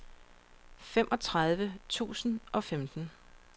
femogtredive tusind og femten